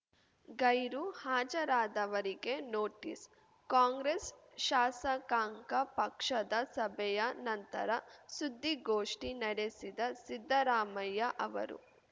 ಗೈರು ಹಾಜರಾದವರಿಗೆ notice Congress ಶಾಸಕಾಂಗ ಪಕ್ಷದ ಸಭೆಯ ನಂತರ ಸುದ್ದಿಗೋಷ್ಠಿ ನಡೆಸಿದ ಸಿದ್ದರಾಮಯ್ಯ ಅವರು